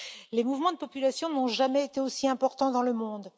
les mouvements de population n'ont jamais été aussi importants dans le monde.